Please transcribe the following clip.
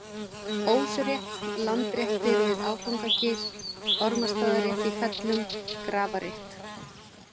Ósrétt, Landréttir við Áfangagil, Ormarsstaðarétt í Fellum, Grafarrétt